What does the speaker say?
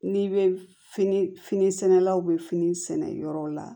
N'i bɛ fini fini sɛnɛlaw bɛ fini sɛnɛ yɔrɔ la